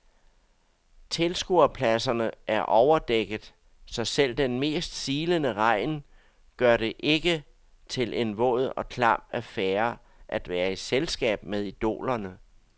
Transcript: Tilskuerpladserne er overdækket, så selv den mest silende regn gør det ikke til en våd og klam affære at være i selskab med idolerne.